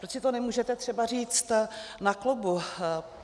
Proč si to nemůžete třeba říct na klubu?